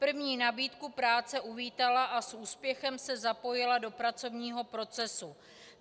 První nabídku práce uvítala a s úspěchem se zapojila do pracovního procesu.